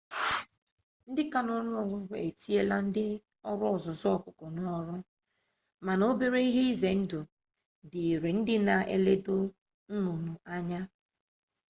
ndị ka n'ọnụ ọgụgụ etinyela ndị ọrụ ọzụzụ ọkụkọ n'ọrụ mana obere ihe ize ndụ dịịrị ndị na eledo nnụnụ anya